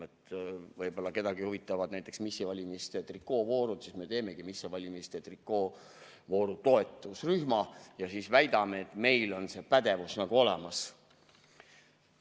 Võib-olla kedagi huvitavad näiteks missivalimiste trikoovoorud ja siis me teemegi missivalimiste trikoovooru toetusrühma ja väidame, et meil on see pädevus olemas.